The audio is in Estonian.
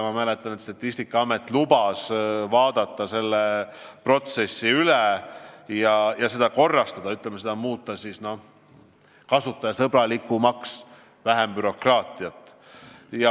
Ma mäletan, et Statistikaameti esindaja lubas, et nad vaatavad selle protsessi üle ja korrastavad seda, muudavad selle kasutajasõbralikumaks, et oleks vähem bürokraatiat.